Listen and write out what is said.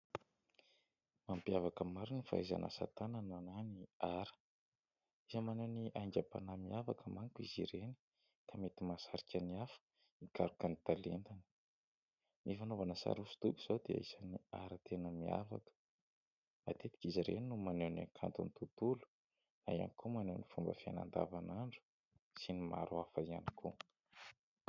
Mampiavaka ny maro ny fahaizana asa-tanana na ny ara, isany maneho ny aingam-panahy miavaka manko izy ireny ka mety mahasarika ny hafa hikaroka ny talentany. Ny fanaovana sary hosodoko izao dia isany ara tena miavaka, matetika izy ireny no maneho ny hakanton'ny tontolo na ihany koa maneho ny fomba fiainana andavan'andro sy ny maro hafa ihany koa.